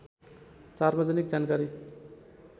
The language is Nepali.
सार्वजनिक जानकारी